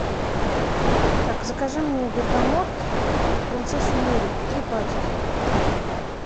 так закажи мне бергамот принцессу нури три пачки